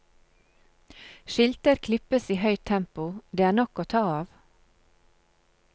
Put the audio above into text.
Skilter klippes i høyt tempo, det er nok av ta av.